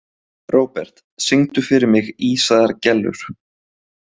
Robert, syngdu fyrir mig „Ísaðar Gellur“.